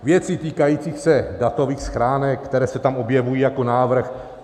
Věci týkající se datových schránek, které se tam objevují jako návrh.